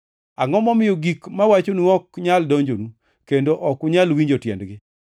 Angʼo momiyo gik mawacho ok nyal donjonu kendo ok unyal winjo tiendgi?